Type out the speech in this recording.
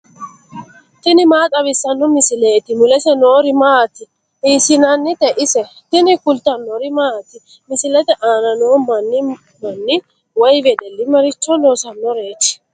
tini maa xawissanno misileeti ? mulese noori maati ? hiissinannite ise ? tini kultannori maati? misilette aanna noo manni manni woy wedelli maricho loosanoreetti?